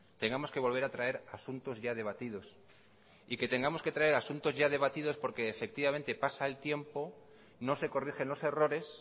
tengamos que volver a traer asuntos ya debatidos y que tengamos que traer asuntos ya debatidos porque efectivamente pasa el tiempo no se corrigen los errores